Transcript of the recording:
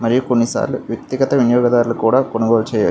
మరియు కొన్నిసార్లు వ్యక్తిగత వినియోగదారులు కూడా కొనుగోలు చెయ్యచ్చు.